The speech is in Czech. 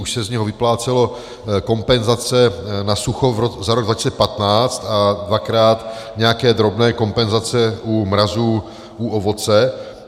Už se z něho vyplácely kompenzace na sucho za rok 2015 a dvakrát nějaké drobné kompenzace u mrazů u ovoce.